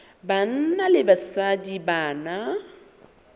banna le basadi ba na